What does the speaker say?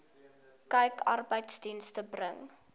kyk arbeidsdienste bring